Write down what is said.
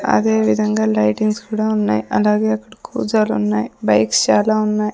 అదేవిదంగా లైటింగ్స్ కుడా ఉన్నాయి అలాగే అక్కడ కూజాలు ఉన్నాయ్ బైక్స్ చాలా ఉన్నాయ్.